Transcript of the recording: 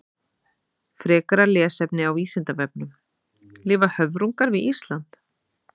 Frekara lesefni á Vísindavefnum: Lifa höfrungar við Ísland?